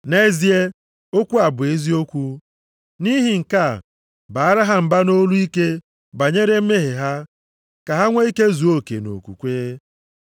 Nʼezie, okwu a bụ eziokwu. Nʼihi nke a, baara ha mba nʼolu ike banyere mmehie ha ka ha nwee ike zuo oke nʼokwukwe,